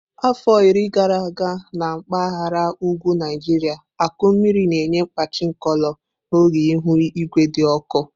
Afọ iri gara aga na mpaghara ugwu Naijiria akụ mmiri na-enye kpachi nkolo n'oge ihu igwe dị ọkụ.